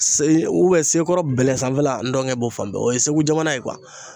sekɔrɔ bɛlɛ sanfɛla ndɔngɛ b'o fan bɛɛ. O ye segu jamana ye